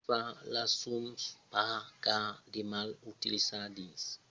aquò fa los zooms pas cars de mal utilizar dins de condicions de luminositat febla sens un flash